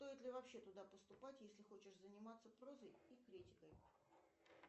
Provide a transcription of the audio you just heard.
стоит ли вообще туда поступать если хочешь заниматься прозой и критикой